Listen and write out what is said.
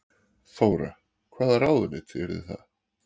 Þóra: Hvaða ráðuneyti yrðu það?